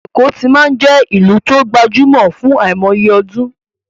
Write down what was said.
Èkó ti máa ń jẹ́ ìlú tó gbajúmọ̀ fún àìmọye ọdún